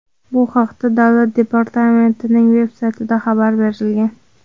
Bu haqda Davlat departamentining veb-saytida xabar berilgan.